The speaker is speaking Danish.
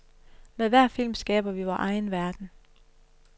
Med hver film skaber vi vor egen verden.